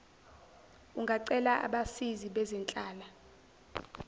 ungacela abasizi bezenhlala